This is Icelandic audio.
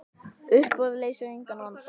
Uppboð leysir engan vanda.